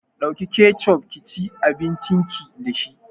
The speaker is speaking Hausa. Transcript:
Ɗauki kecof kici abincin ki dashi